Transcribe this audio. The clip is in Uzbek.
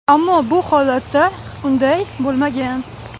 Ammo bu holatda unday bo‘lmagan.